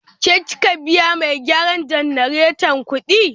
Ke kika biya mai gyaran jannareta kudi?